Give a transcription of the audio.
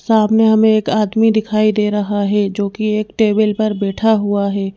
सामने हमें एक आदमी दिखाई दे रहा है जोकि एक टेबिल पर बैठा हुआ है।